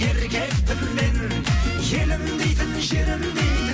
еркекпін мен елім дейтін жерім дейтін